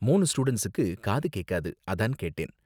மூணு ஸ்டூடண்ட்ஸுக்கு காது கேக்காது. அதான் கேட்டேன்.